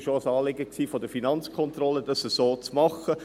Es war auch ein Anliegen der Finanzkontrolle, dies so zu machen.